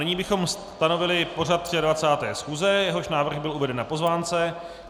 Nyní bychom stanovili pořad 23. schůze, jehož návrh byl uveden na pozvánce.